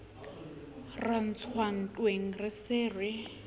ra ntswa ntweng re se